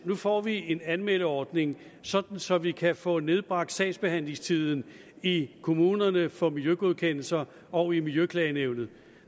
nu får en anmeldeordning så så vi kan få nedbragt sagsbehandlingstiden i kommunerne for miljøgodkendelser og i miljøklagenævnet